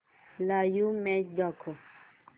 live match दाखव